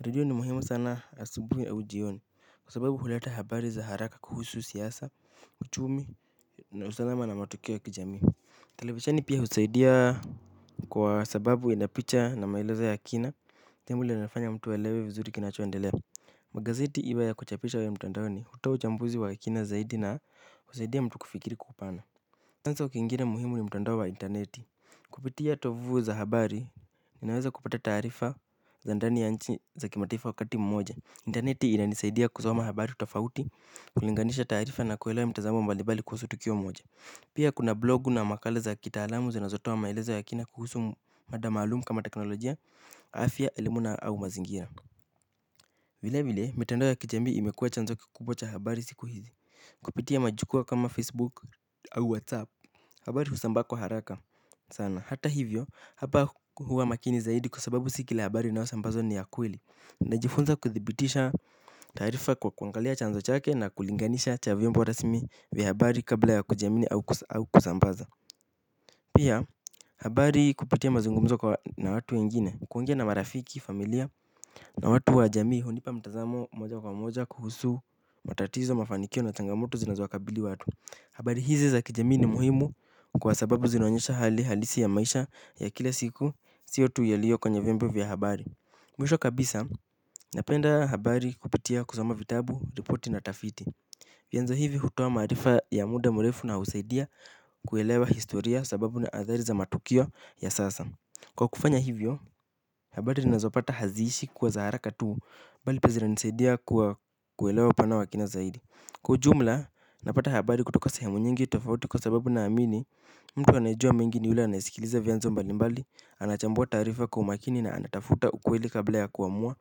Redio ni muhimu sana asubuhi au jioni kwa sababu huleta habari za haraka kuhusu siasa uchumi na usalama na matukio ya kijamii. Televisheni pia husaidia kwa sababu inapicha na maelezo ya kina. Temu linafanya mtu alewe vizuri kinachoendelea. Magazeti iwe ya kuchapisha au ya mtondoni hutoa uchambuzi wa kina zaidi na husaidia mtu kufikiri kwa upana chanzo kingine muhimu ni mtandao wa interneti. Kupitia tovu za habari ninaweza kupata taarifa za ndani ya nchi za kimataifa wakati mmoja. Interneti inanisaidia kusoma habari tofauti. Kulinganisha taarifa na kuelewa mtazamo mbalimbali kuhusu tukio moja. Pia kuna blogu na makala za kitaalamu zinazotoa maelezo ya kina kuhusu mada maalumu kama teknolojia afya elimu na au mazingira. Vile vile mitandao ya kijamii imekuwa chanzo kikubwa cha habari siku hizi. Kupitia majukua kama facebook au whatsapp habari husambaa kwa haraka sana. Hata hivyo hapa huwa makini zaidi kwa sababu si kila habari unaosambazwa ni ya kweli ninajifunza kuthibitisha taarifa kwa kuangalia chanzo chake na kulinganisha cha vyombo rasmi vya habari kabla ya kujiamini au kusambaza. Pia habari kupitia mazungumzo kwa na watu wengine kuongea na marafiki familia na watu wa jamii hunipa mtazamo moja kwa moja kuhusu matatizo mafanikio na changamoto zinazo wakabili watu. Habari hizi za kijamii ni muhimu kwa sababu zinaonyesha hali halisi ya maisha ya kila siku sio tu yalio kwenye vyombo vya habari. Mwisho kabisa napenda habari kupitia kusoma vitabu, ripoti na tafiti. Vyanzo hivi hutoa maarifa ya muda mrefu na husaidia kuelewa historia sababu na athari za matukio ya sasa. Kwa kufanya hivyo, habari ninazopata haziishi kuwa za haraka tu, bali pia zinanisaidia kwa kuelewa upana wa kina zaidi. Kwa ujumla napata habari kutoka sehemu nyingi tofauti kwa sababu naamini mtu anayejua mengi ni yule anayesikiliza vyanzo mbalimbali anachambua taarifa kwa umakini na anatafuta ukweli kabla ya kuamua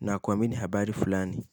na kuamini habari fulani.